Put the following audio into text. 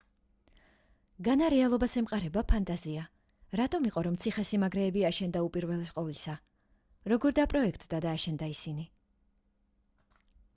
განა რეალობას ემყარება ფანტაზია რატომ იყო რომ ციხე-სიმაგრეები აშენდა უპირველეს ყოვლისა როგორ დაპროექტდა და აშენდა ისინი